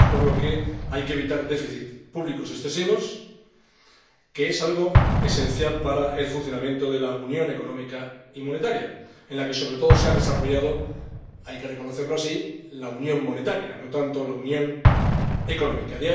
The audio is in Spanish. Por eso, hay que evitar déficits públicos excesivos, que es algo esencial para el funcionamiento de la unión económica y monetaria, en la que se ha desarrollado sobre todo hay que reconocerlo así la unión monetaria, no tanto la unión económica.